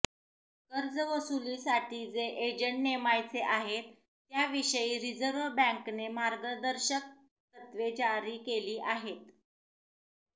कर्जवसुलीसाठी जे एजंट नेमायचे आहेत त्या विषयी रिजर्व्ह बॅंकेने मार्गदर्शक तत्वे जारी केली आहेत